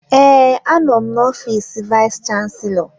Ee, anọ m n'ofiis vayis chansilọ.